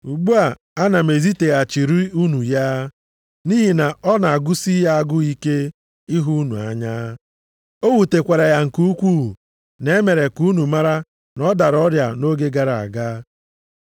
Ugbu a, ana m eziteghachiri unu ya, nʼihi na ọ na-agụsị ya agụụ ike ịhụ unu anya. O wutekwara ya nke ukwuu, na e mere ka unu mara na ọ dara ọrịa nʼoge gara aga.